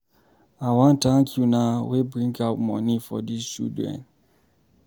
I wan thank una wey bring out money for dis children.